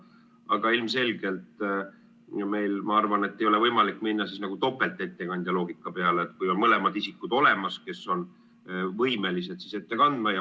Aga ilmselgelt meil, ma arvan, ei ole võimalik minna topeltettekandja loogika peale, kui on mõlemad isikud olemas, kes on võimelised ettekannet tegema.